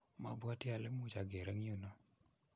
mabwatii ale much ager eng yu no.